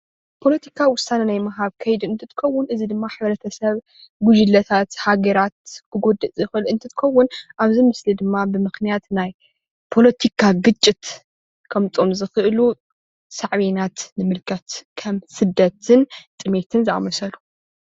ፓለቲካ ወሳነ ናይ ምሃብ ከይዲ እንትትከውን እዚ ድማ ሕብረተሰብ ጉጅለታት ሃገራት ክጎድእ ዝኽእል እንትኸውን እዚ ድማ ብምኽንያት ፖለቲካ ግጭት ኸሞፅእ ይኽእል።